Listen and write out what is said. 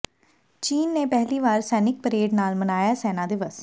ਚੀਨ ਨੇ ਪਹਿਲੀ ਵਾਰ ਸੈਨਿਕ ਪਰੇਡ ਨਾਲ ਮਨਾਇਆ ਸੈਨਾ ਦਿਵਸ